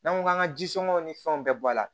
N'an ko k'an ka ji sonŋɛw ni fɛnw bɛɛ bɔ a la